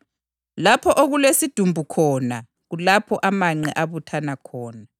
Lapho okulesidumbu khona kulapho amanqe abuthana khona.